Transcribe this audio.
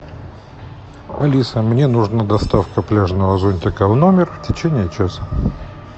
алиса мне нужна доставка пляжного зонтика в номер в течении часа